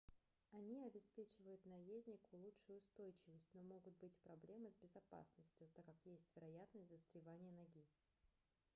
они обеспечивают наезднику лучшую устойчивость но могут быть проблемы с безопасностью так как есть вероятность застревания ноги